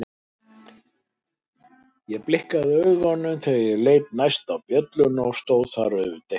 Ég blikkaði augunum og þegar ég leit næst á bjölluna stóð þar auðvitað ekki neitt.